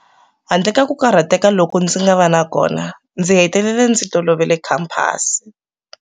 Handle ka ku karhateka loku ndzi ngava na kona, ndzi hetelele ndzi tolovele khamphasi.